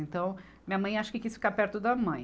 Então, minha mãe acho que quis ficar perto da mãe.